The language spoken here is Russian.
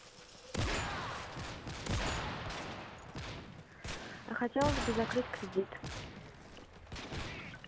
а хотелось бы закрыть кредит